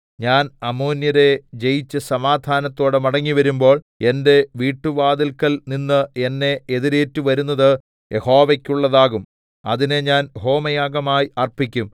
ഞാൻ അമ്മോന്യരെ ജയിച്ചു സമാധാനത്തോടെ മടങ്ങിവരുമ്പോൾ എന്റെ വീട്ടുവാതില്‍ക്കൽ നിന്ന് എന്നെ എതിരേറ്റുവരുന്നത് യഹോവെക്കുള്ളതാകും അതിനെ ഞാൻ ഹോമയാഗമായി അർപ്പിക്കും